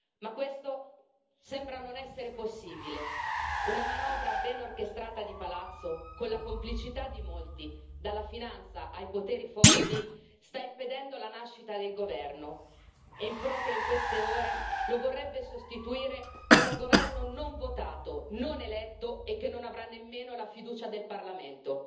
Ma questo sembra non essere possibile una manovra ben orchestrata di palazzo, con la complicità di molti, dalla finanza ai poteri forti, sta impedendo la nascita del governo, e proprio in queste ore lo vorrebbe sostituire con un governo non votato, non eletto, e che non avrà nemmeno la fiducia del Parlamento.